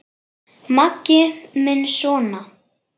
Maggi minn sona!